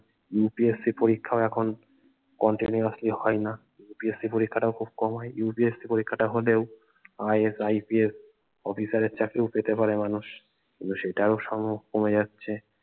UPSC পরীক্ষাও এখন continuously হয় না PSC পরীক্ষা টা ও খুব কম হয় UPSC পরীক্ষা টা হলেও IASIPS অফিসারের চাকরি ও পেতে পারে মানুষ কিন্ত সেটাও সমূহ কমে যাচ্ছে